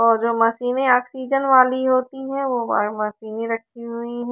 और जो मशीने ऑक्सीजन वाली होती है वो अकेले लटकी हुई--